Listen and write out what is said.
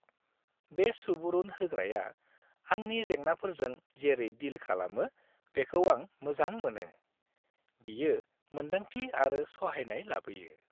बे सुबुरुन होग्राया आंनि जेंनाफोरजों जेरै डिल खालामो बेखौ आं मोजां मोनो। बियो मोनदांथि आरो सहायनाय लाबोयो।